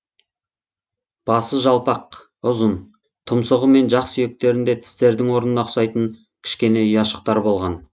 басы жалпақ ұзын тұмсығы мен жақ сүйектерінде тістердің орнына ұқсайтын кішкене ұяшықтар болған